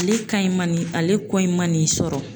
Ale ka in ma n'i ale ko in ma n'i sɔrɔ